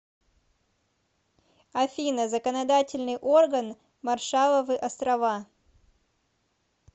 афина законодательный орган маршалловы острова